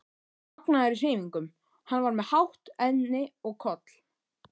magnaður í hreyfingum, hann var með hátt enni og koll